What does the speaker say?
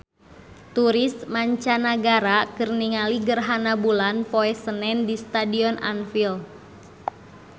Turis mancanagara keur ningali gerhana bulan poe Senen di Stadion Anfield